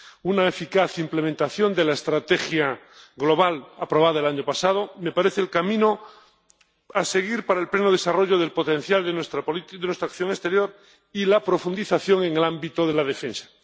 Una eficaz implementación de la Estrategia Global aprobada el año pasado me parece el camino a seguir para el pleno desarrollo del potencial de nuestra acción exterior y la profundización en el ámbito de la defensa.